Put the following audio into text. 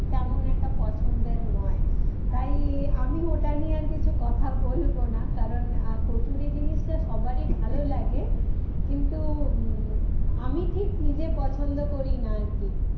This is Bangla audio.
তেমন একটা পছন্দের নয় তাই আমি ওটা নিয়ে আর কিছু কথা বলবো না কারণ কচুরি জিনিসটা সবারই ভালো লাগে কিন্তু উম আমি ঠিক নিজে পছন্দ করি না আর কি